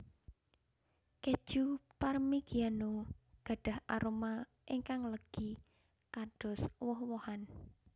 Kèju Parmigiano gadhah aroma ingkang legi kados woh wohan